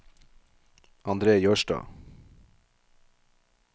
Andre Jørstad